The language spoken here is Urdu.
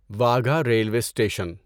Wagah railway station